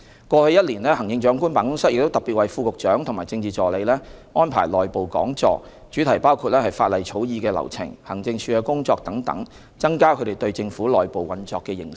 過去一年，行政長官辦公室亦特別為副局長和政治助理安排內部講座，主題包括法例草擬的流程、行政署的工作等，增加他們對政府內部運作的認識。